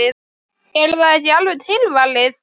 Er það ekki alveg tilvalið?